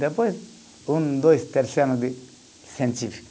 Depois, um, dois, terceiro ano de científico.